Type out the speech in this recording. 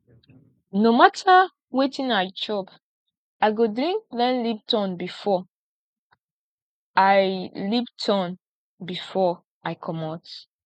no mata wetin i chop i go drink plain lipton before i lipton before i comot